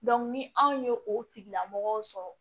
ni anw ye o tigilamɔgɔw sɔrɔ